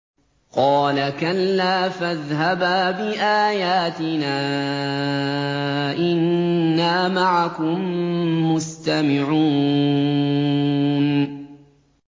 قَالَ كَلَّا ۖ فَاذْهَبَا بِآيَاتِنَا ۖ إِنَّا مَعَكُم مُّسْتَمِعُونَ